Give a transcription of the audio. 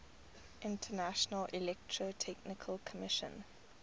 international electrotechnical commission